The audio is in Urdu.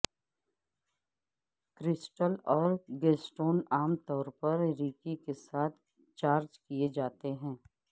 کرسٹل اور گیسسٹون عام طور پر ریکی کے ساتھ چارج کیے جاتے ہیں